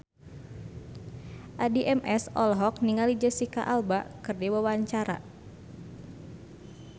Addie MS olohok ningali Jesicca Alba keur diwawancara